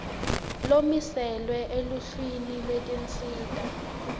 lomiselwe eluhlwini lwetinsita